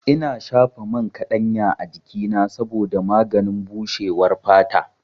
Ina shafa man kaɗanya a jikina saboda maganin bushewar fata.